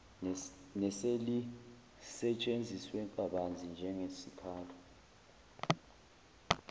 neselisetshenziswe kabanzi njengesikhali